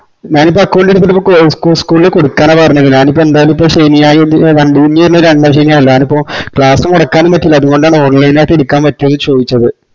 ഞാനിപ്പോ account എടുത്തിട്ട് ഇപ്പോ school ല് കൊടക്കാനാ പറഞ്ഞത് ഞാനിപ്പോ എനി ന്തായാലിപ്പോ ശെനിയാ ഇപ്പൊ ഇനി രണ്ടാംശനിയാന്നല്ലോ ഞാനിപ്പൊ class മൊടക്കനുംപറ്റൂലാ അത്കൊണ്ടാണ് online ആയിട്ട് എടുക്കാന്പറ്റുവോന്ന് ചോദിച്ചത്